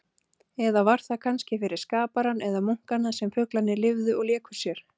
Eða var það kannski fyrir skaparann eða munkana sem fuglarnir lifðu og léku sér?